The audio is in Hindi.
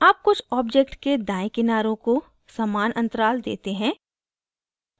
अब अब कुछ objects के दायें किनारों को समान अंतराल देते हैं